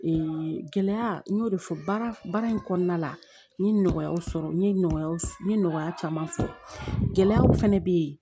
gɛlɛya n y'o de fɔ baara in kɔnɔna la n ye nɔgɔyaw sɔrɔ n ye nɔgɔya n ye nɔgɔya caman sɔrɔ gɛlɛyaw fɛnɛ be yen